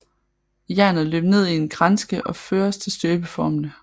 Jernet løber ned i en kranske og føres til støbeformene